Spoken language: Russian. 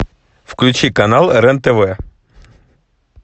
включи канал рен тв